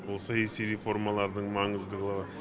ол саяси реформалардың маңыздылығы